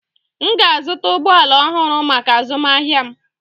M ga-azụta ụgbọ ala ọhụrụ maka azụmahịa m.